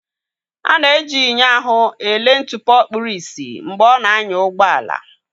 A na-eji enyo ahụ ele ntụpọ kpuru ìsì mgbe ọ na-anya ụgbọ ala.